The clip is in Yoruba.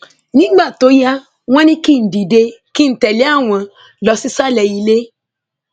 nígbà tó yá wọn ní kí n dìde kí n tẹlé àwọn lọ sísàlẹ ilé